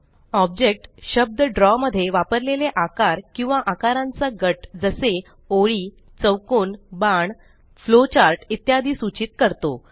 object शब्द draw मध्ये वापरलेले आकार किंवा आकारांचा गट जसे ओळी चौकोन बाण फ्लोचार्ट इत्यादी सुचित करतो